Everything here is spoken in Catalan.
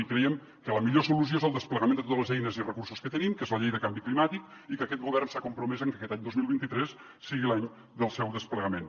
i creiem que la millor solució és el desplegament de totes les eines i recursos que tenim que és la llei de canvi climàtic i que aquest govern s’ha compromès a que aquest any dos mil vint tres sigui l’any del seu desplegament